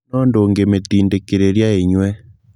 no ndũngĩmitindĩkĩrĩria inyue